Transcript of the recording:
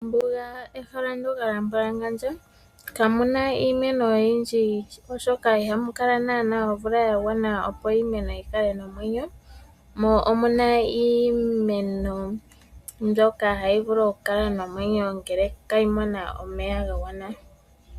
Ombuga ehala ndjoka lyambwalangandja, kamu na iimeno oyindji oshoka ihamu kala naanaa omvula ya gwana opo iimeno yi kale nomwenyo, mo omu na iimeno mbyoka hayi vulu okukala nomwenyo ngele inayi mona omeya ga gwana.